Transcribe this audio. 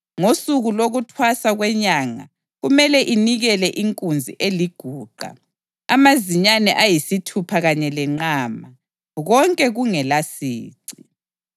Ngosuku lokuThwasa kweNyanga kumele inikele inkunzi eliguqa, amazinyane ayisithupha kanye lenqama, konke kungelasici.